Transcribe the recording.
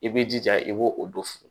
I b'i jija i b'o o don